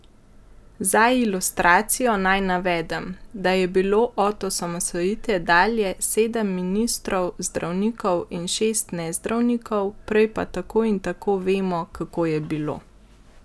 Za ilustracijo naj navedem, da je bilo od osamosvojitve dalje sedem ministrov zdravnikov in šest nezdravnikov, prej pa tako in tako vemo, kako je bilo.